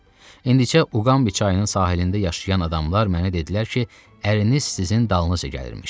İndicə Uqambi çayının sahilində yaşayan adamlar mənə dedilər ki, əriniz sizin dalınızca gəlirmiş.